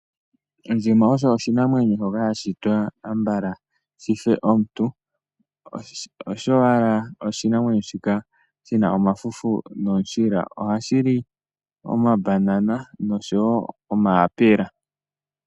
Ondjima oyo oshinamwenyo, ambala shife omuntu, osho owala oshinamwenyo, shika shi na omafufu nomishila. Ohashi li omabanana osho wo omayapela.